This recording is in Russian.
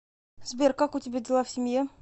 сбер как у тебя дела в семье